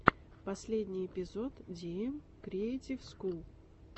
последний эпизод диэм криэйтив скул